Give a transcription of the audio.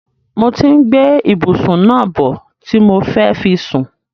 Mo ti ń gbé ìbùsún náà bọ̀ ti mo fẹ́ fi sùn.